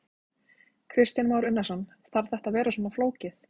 Kristján Már Unnarsson: Þarf þetta að vera svona flókið?